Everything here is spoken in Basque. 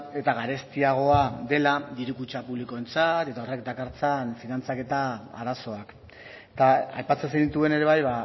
eta garestiagoa dela diru kutxa publikoentzat eta horrek dakartzan finantzaketa arazoak eta aipatzen zenituen ere bai